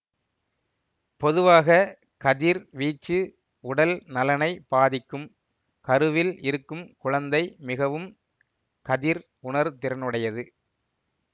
பொதுவாக கதிர் வீச்சு உடல் நலனைப் பாதிக்கும் கருவில் இருக்கும் குழந்தை மிகவும் கதிர் உணர்திறனுடையது